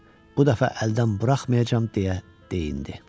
Bu dəfə əldən buraxmayacam deyə deyinirdi.